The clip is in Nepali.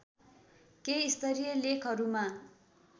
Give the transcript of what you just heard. केही स्तरीय लेखहरूमा